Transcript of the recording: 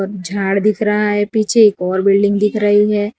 और झाड़ दिख रहा है पीछे एक और बिल्डिंग दिख रही है।